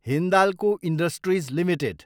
Hindalco industries Ltd